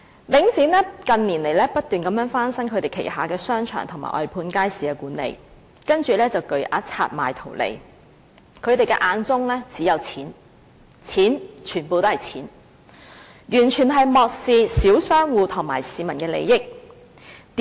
領展近年不斷翻新旗下的商場和外判街市管理，然後便以巨額拆售圖利，他們眼中只有金錢，完全是金錢，完全漠視小商戶和市民的利益。